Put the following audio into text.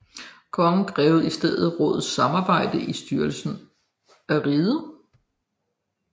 Kongen krævede i stedet rådets samarbejde i styrelsen af riget